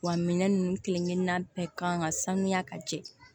Wa minɛn nunnu kelen-kelenna bɛɛ kan ka sanuya ka jɛ